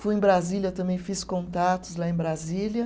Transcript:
Fui em Brasília, também fiz contatos lá em Brasília.